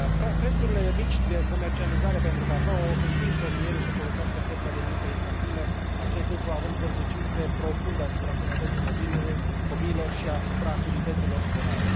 Prețurile mici de comercializare pentru cacao împing fermierii să folosească forța de muncă infantilă, acest lucru având consecințe profunde asupra sănătății copiilor și asupra activității lor școlare.